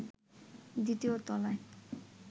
দ্বিতীয় তলায়